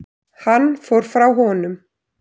Hann fór frá honum.